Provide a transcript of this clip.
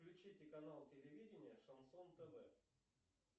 включите канал телевидения шансон тв